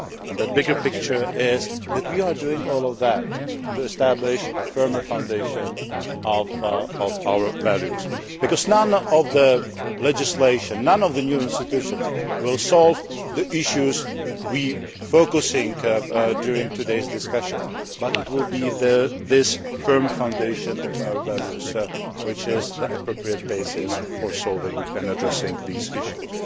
That bigger picture is that we are doing all that to establish a firmer foundation of our values. None of the legislation and none of the new institutions will solve the issues we are focusing on in today's discussions, but this firm foundation of our values will be an appropriate basis for solving and addressing these issues.